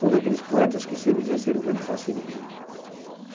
Todos aqueles poetas que sempre exerceram grande fascínio em mim.